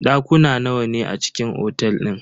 Dakuna nawa ne a cikin otel din?